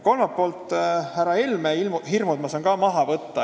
Kolmandalt poolt saan härra Helme hirmud ka maha võtta.